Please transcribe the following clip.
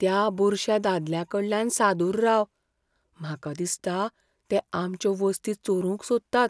त्या बुरश्या दादल्यांकडल्यान सादूर राव. म्हाका दिसता ते आमच्यो वस्ती चोरूंक सोदतात.